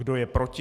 Kdo je proti?